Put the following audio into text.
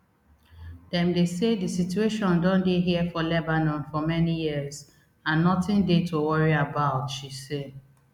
dem dey say di situation don dey here for lebanon for many years and notin dey to worry about she say